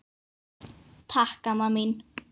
Takk amma mín.